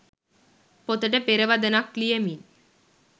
පොතට පෙරවදනක් ලියමින්